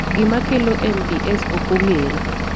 Gima kelo MDS ok ong'ere.